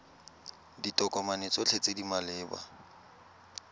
ditokomane tsotlhe tse di maleba